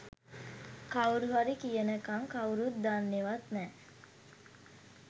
කවුරුහරි කියනකම් කවුරුත් දන්නෙවත් නෑ.